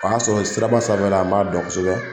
O y'a sɔrɔ siraba sanfɛla n b'a dɔn kosɛbɛ